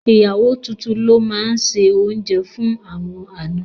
Ìyàwó tuntun ló máa se oúnjẹ fún àwọn àna.